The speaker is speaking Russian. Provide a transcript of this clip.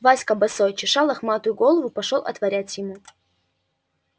васька босой чеша лохматую голову пошёл отворять ему